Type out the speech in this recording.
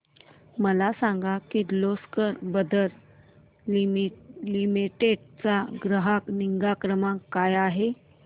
मला सांग Kirloskar brother limited चा ग्राहक निगा क्रमांक काय आहे